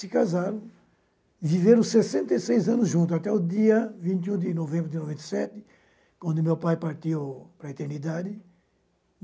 Se casaram, viveram sessenta e seis anos juntos, até o dia vinte e um de novembro de noventa e sete, quando meu pai partiu para a eternidade.